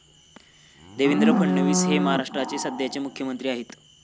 देवेंद्र फडणवीस हे महाराष्ट्राचे सध्याचे मुख्यमंत्री आहेत.